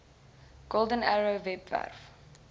golden arrow webwerf